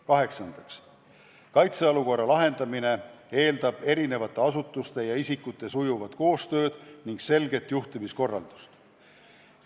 Kaheksandaks, kaitseolukorra lahendamine eeldab eri asutuste ja isikute sujuvat koostööd ning selget juhtimiskorraldust.